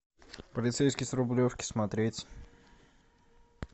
полицейский с рублевки смотреть